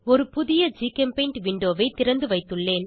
ஒரு புதிய ஜிகெம்பெய்ண்ட் விண்டோவை திறந்துவைத்துள்ளேன்